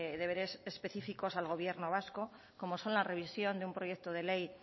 deberes específicos al gobierno vasco como son la revisión de un proyecto de ley